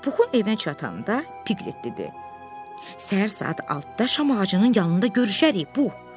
Puxun evinə çatanda Piklet dedi: Səhər saat 6-da şam ağacının yanında görüşərik, Pux.